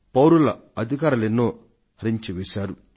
పౌరుల అధికారాలనెన్నింటినో హరించి వేశారు